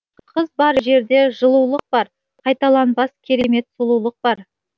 қыз бар жерде жылулық бар қайталанбас керемет сұлулық бар